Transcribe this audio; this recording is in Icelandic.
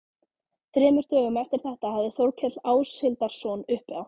Þremur dögum eftir þetta hafði Þórkell Áshildarson uppi á